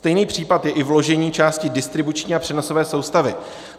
Stejný případ je i vložení části distribuční a přenosové soustavy.